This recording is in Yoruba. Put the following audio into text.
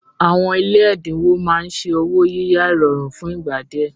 Àwọn ilé ẹ̀dínwó máa ń ṣe ọwọ́ yíyá ìrọ̀rùn fún ìgbà díẹ̀